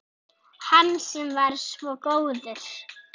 Hann sem var svo góður